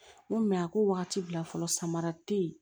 N ko mɛ a ko wagati bila fɔlɔ samara te ye